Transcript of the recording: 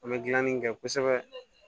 An bɛ gilanni kɛ kosɛbɛ